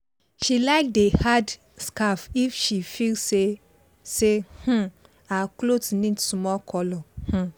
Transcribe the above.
she like dey add scarf if she feel say say um her cloth need small colour um